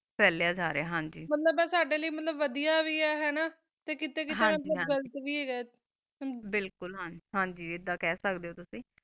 ਚਲਾ ਜਾ ਰਹਾ ਆ ਮਤਲਬ ਕਾ ਵੜਿਵੀ ਹ ਬਿਲ੍ਗਕੁ ਹਨ ਗੀ ਅਦਾ ਖਾ ਸਕਦਾ ਜਾ ਤੁਸੀਂ ਲਤ ਆ ਵੀ ਹ ਕੀਤਾ ਗਾਘਾ